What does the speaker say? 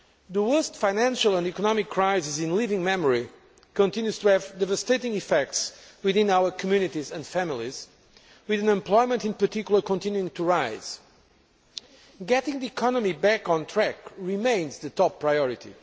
The worst financial and economic crisis in living memory continues to have devastating effects within our communities and families, with unemployment in particular continuing to rise. Getting the economy back on track remains the top priority.